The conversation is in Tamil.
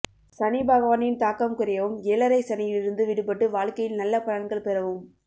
சனிபகவானின் தாக்கம் குறையவும் ஏழரைச் சனியிலிருந்து விடுபட்டு வாழ்க்கையில் நல்ல பலன்கள் பெறவும்